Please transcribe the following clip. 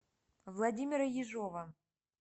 владимира ежова